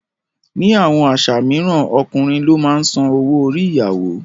Ní àwọn àṣà mìíràn, Ọkùnrin ló máa ń san owó orí ìyàwó.